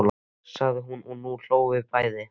sagði hún og nú hlógum við bæði.